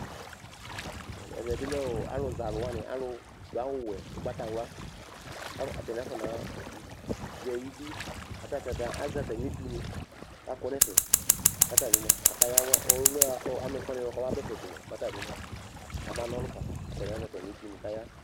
Ɛvɛ bɩ lɛ ɔ alʋzɛ alʋ wanɩ, alʋdʋ awʋwɛ, ʋgbatawla kʋ atanɩ afɔnazɛ idu la kʋ ata ta azɛ atamɩ etunɩ kʋ akɔ nʋ ɛfɛ kʋ ata bɩ mʋa, akayawa ɔ ɔlʋ yɛ bʋa kʋ ɔ amɛfʋanɩ yɛ bʋa kʋ ɔmaba ɛfɛ ko mʋa, mɛ ata bɩ mʋa, kabana ɔlʋ fa kʋ atanɩ azɛ atamɩ etunɩ kʋ aya